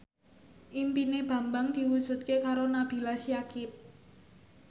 impine Bambang diwujudke karo Nabila Syakieb